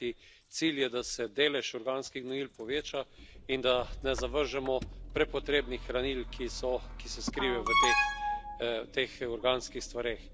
Kajti cilj je, da se delež organskih gnojil poveča in da ne zavržemo prepotrebnih hranil, ki se skrivajo v teh organskih stvareh.